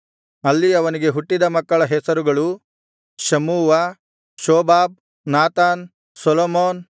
ಅಲ್ಲಿ ಅವನಿಗೆ ಹುಟ್ಟಿದ ಮಕ್ಕಳ ಹೆಸರುಗಳು ಶಮ್ಮೂವ ಶೋಬಾಬ್ ನಾತಾನ್ ಸೊಲೊಮೋನ್